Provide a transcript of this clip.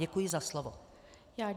Děkuji za slovo.